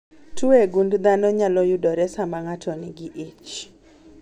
Tuo e gund dhano nyalo yudore saa ma ng'ato nigi ich